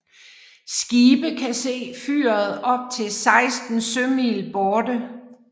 Skibe kan se fyret op til 16 sømil borte